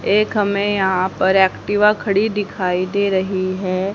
एक हमें यहां पर एक्टिवा खड़ी दिखाई दे रही है।